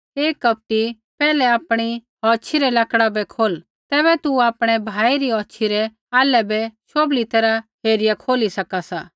हे कपटी पैहलै आपणी औछ़ी रै लक्ड़ा बै खोल तैबै तू आपणै भाई री औछ़ी रै आल्है बै शोभली तैरहा हेरिया खोली सका सा